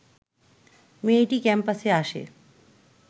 মেয়েটি ক্যাম্পাসে আসে